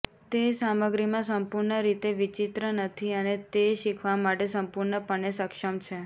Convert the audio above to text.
તે સામગ્રીમાં સંપૂર્ણ રીતે વિચિત્ર નથી અને તે શીખવા માટે સંપૂર્ણપણે સક્ષમ છે